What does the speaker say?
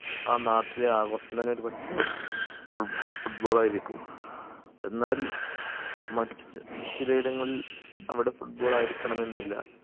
ആ നാട്ടിലെ ആഘോഷം തന്നെ ഒരു പക്ഷെ foot football ആയിരിക്കും എന്നാൽ മറ്റ് ചി ചില ഇടങ്ങളിൽ അവിടെ football ആയിരിക്കണമെന്നില്ല